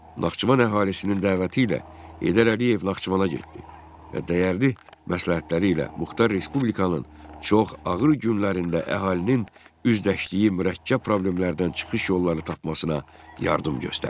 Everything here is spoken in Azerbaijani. Naxçıvan əhalisinin dəvəti ilə Heydər Əliyev Naxçıvana getdi və dəyərli məsləhətləri ilə muxtar respublikanın çox ağır günlərində əhalinin üzləşdiyi mürəkkəb problemlərdən çıxış yolları tapmasına yardım göstərdi.